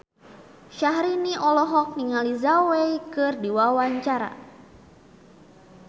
Syahrini olohok ningali Zhao Wei keur diwawancara